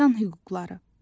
İnsan hüquqları.